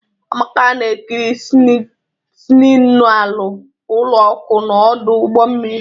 Amaka na-ekiri signalu ụlọ ọkụ na ọdụ ụgbọ mmiri.